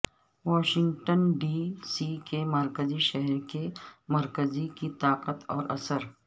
Washington D C کے مرکزی شہر کے مرکز کی طاقت اور اثر